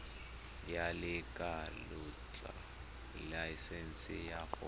ya lekwalotetla laesense ya go